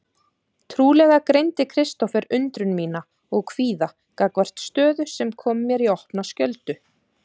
Trúlega greindi Kristófer undrun mína og kvíða gagnvart stöðu sem kom mér í opna skjöldu.